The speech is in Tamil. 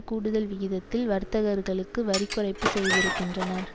கூடுதல் விகிதத்தில் வர்த்தகர்களுக்கு வரி குறைப்பு செய்திருக்கின்றனர்